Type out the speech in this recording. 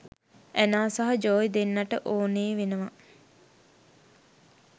Anna සහ Joey දෙන්නට ඕනේ වෙනවා